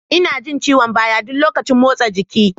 Ina jin ciwon baya ɗuk lokacin motsa jiki.